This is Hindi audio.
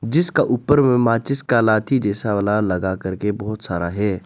जिसका ऊपर में माचिस का लाठी जैसा वाला लगा करके बहुत सारा है।